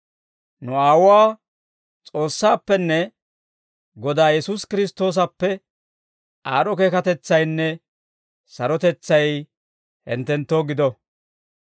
Nu Aawuwaa S'oossaappenne Godaa Yesuusi Kiristtoosappe aad'd'o keekatetsaynne sarotetsay hinttenttoo gido.